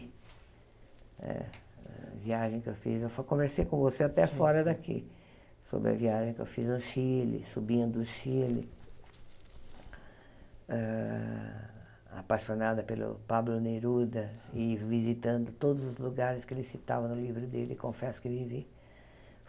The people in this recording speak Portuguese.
Eh a viagem que eu fiz, eu só conversei com você até fora daqui, sobre a viagem que eu fiz no Chile, subindo o Chile, hã apaixonada pelo Pablo Neruda e visitando todos os lugares que ele citava no livro dele, Confesso Que Vivi.